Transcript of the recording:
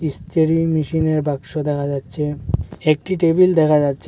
ইস্ত্রী মেশিনের বাক্স দেখা যাচ্ছে একটি টেবিল দেখা যাচ্ছে।